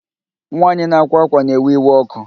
Nwaanyị na-akwa akwa na-ewe iwe ọkụ